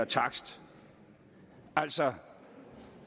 takst altså